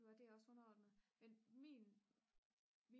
du er det er også underordnet men min